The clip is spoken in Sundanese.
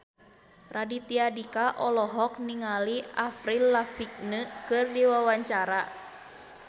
Raditya Dika olohok ningali Avril Lavigne keur diwawancara